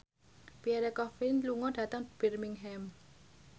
Pierre Coffin lunga dhateng Birmingham